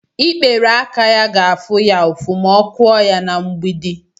ikperé aka ya ga-afụ ya ụfụ ma ọ kụọ ya na mgbidi